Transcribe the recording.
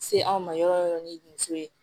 Se anw ma yɔrɔ yɔrɔ ni muso ye